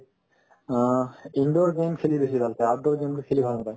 অহ্ , indoor game খেলি বেছি ভাল পাই outdoor game খেলি ভাল নাপায়